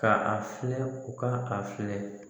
Ka a filɛ u ka a filɛ